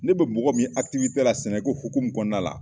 Ne bɛ mɔgɔ min ye la sɛnɛko hukumu kɔnɔna la